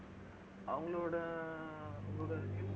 அவங்களோட